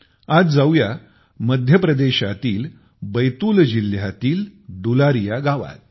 आज जाऊया मध्य प्रदेशातील बैतूल जिल्ह्यातील डूलारिया गावात